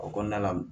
O kɔnɔna la